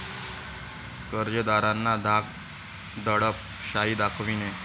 कर्जदारांना धाक दडप शाही दाखविणे.